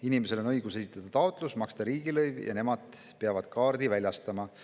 Inimesel on õigus esitada taotlus, ja kui ta on maksnud ära riigilõivu, siis nemad peavad kaardi väljastama.